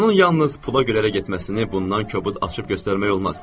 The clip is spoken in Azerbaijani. Onun yalnız pula görə getməsini bundan kobud açıq göstərmək olmaz.